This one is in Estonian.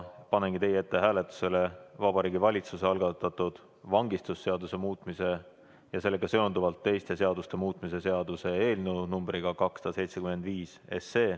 Panengi teie ette hääletusele Vabariigi Valitsuse algatatud vangistusseaduse muutmise ja sellega seonduvalt teiste seaduste muutmise seaduse eelnõu numbriga 275.